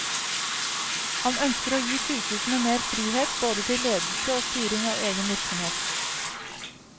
Han ønsker å gi sykehusene mer frihet, både til ledelse og styring av egen virksomhet.